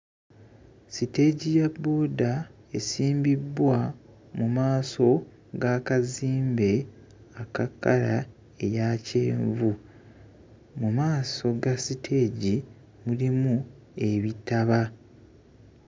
Siteegi ya bbooda esimbibbwa mu maaso g'akazimbe aka kkala eya kyenvu mu maaso ga siteegi mulimu ebitaba